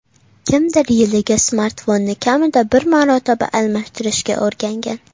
Kimdir yiliga smartfonni kamida bir marotaba almashtirishga o‘rgangan.